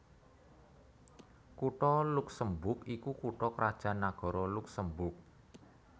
Kutha Luksemburg iku kutha krajan nagara Luksemburg